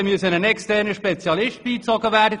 Nun musste ein externer Spezialist beigezogen werden.